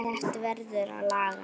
Þetta verður að laga.